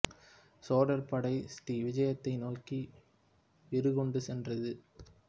சோழர் படை ஸ்ரீ விஜயத்தை நோக்கி வீறு கொண்டு சென்றது